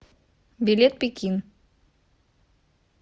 билет пекин